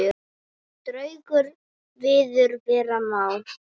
Draugur viður vera má.